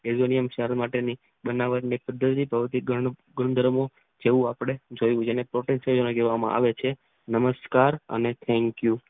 Aluminium સાર માટેની બનાવટ ભૌતિક ગુણધર્મો જેવું આપણે જોયું જેને આપણે પોટેશિયમ કહેવામાં આવે છે.